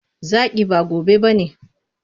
Zaki, ba gobe ba ne.